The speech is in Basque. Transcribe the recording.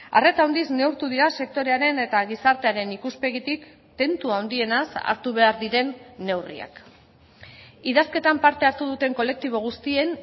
arreta handiz neurtu dira sektorearen eta gizartearen ikuspegitik tentu handienaz hartu behar diren neurriak idazketan parte hartu duten kolektibo guztien